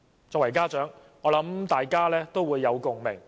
作為家長，我和大家也有共鳴。